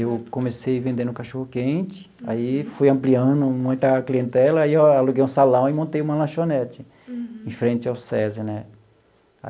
Eu comecei vendendo cachorro-quente, aí fui ampliando muita clientela, e aí eu aluguei um salão e montei uma lanchonete em frente ao SESI, né?